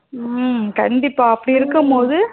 உம் கண்டிப்பா அப்டி இருக்கும் போது